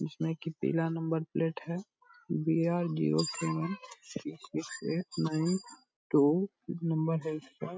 इसमें की पीला नंबर प्लेट है B R zero seven six six eight nine two number है इसका।